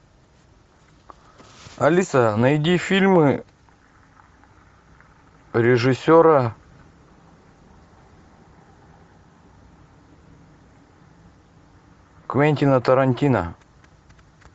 алиса найди фильмы режиссера квентина тарантино